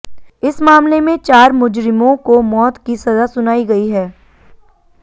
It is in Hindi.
इस मामले में चार मुजरिमों को मौत की सजा सुनाई गई है